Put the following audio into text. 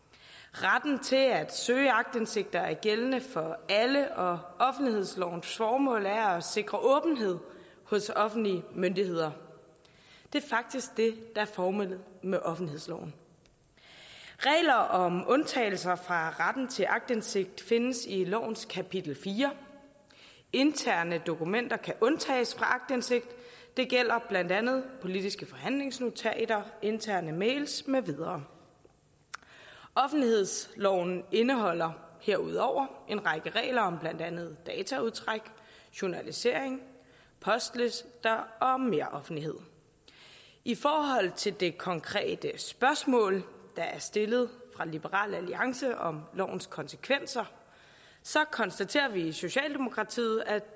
retten til at søge aktindsigt er gældende for alle og offentlighedslovens formål er at sikre åbenhed hos offentlige myndigheder det er faktisk det der er formålet med offentlighedsloven regler om undtagelser fra retten til aktindsigt findes i lovens kapitel fjerde interne dokumenter kan undtages fra aktindsigt det gælder blandt andet politiske forhandlingsnotater interne mails med videre offentlighedsloven indeholder herudover en række regler om blandt andet dataudtræk journalisering postlister og meroffentlighed i forhold til det konkrete spørgsmål der er stillet af liberal alliance om lovens konsekvenser konstaterer vi i socialdemokratiet at